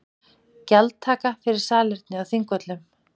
Gjaldtaka fyrir salerni á Þingvöllum